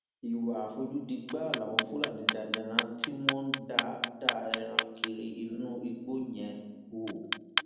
ìwà àfojúdi gbáà làwọn fúlàní darandaran tí wọn ń da da ẹran kiri inú igbó yẹn ń hù